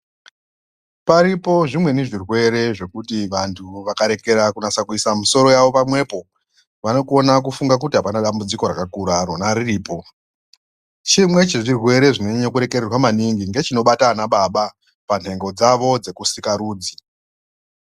Paripo zvimweni zvirwere zvekuti vantu vakaregera kuisa misoro yavo pamwepo vanogona kufunga kuti hapana dambudziko rakakura rona riripo, chimwe chezvirwere chinonyanye kuregererwa maningi ndechinobata vanababa panhengo dzavo dzekusikarudzi.